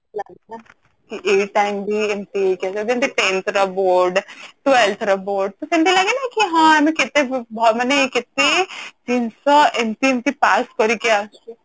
କି ଏଇ time ବି ଏମିତି ହେଇଯିବ ତ ଯେମିତି tenth ର board twelve ର board ତ ସେମିତି ଲାଗେ କି ହଁ ଆମେ କେତେ ମାନେ କେତେ ଜିନିଷ ଏମିତି କି ପାସ କରିକି ଆସିଛୁ